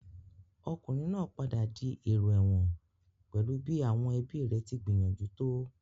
Ọkùnrin náà padà di èrò ẹ̀wọ̀n pẹ̀lú bí àwọn ẹbíi rẹ̀ tí gbìyànjú tó.